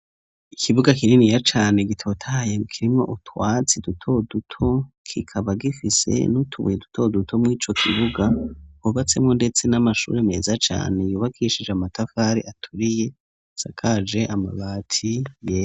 Ikibuga kininiya cane gitotahaye kirimwo utwatsi duto duto kikaba gifise n'utubuye duto duto mu ico kibuga hubatswemwo ndetse n'amashuri meza cane yubakishije amatafari aturiye asakaje amabati yera.